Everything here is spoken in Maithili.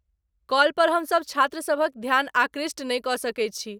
कॉल पर हमसब छात्रसभक ध्यान आकृष्ट नहि कऽ सकैत छी।